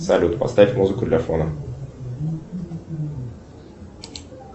салют поставь музыку для фона